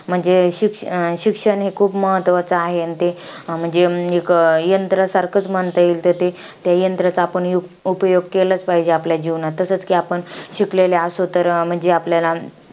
म्हणजे शिक~ शिक्षण हे खूप महत्वाचं आहे. अन ते म्हणजे, येक यंत्रासारखच म्हणता येईल. तर ते यंत्राचा आपण यु~ उपयोग केलाच पाहिजे आपल्या जीवनात. तसेच कि आपण शिकलेलो असू तर म्हंजी आपल्याला,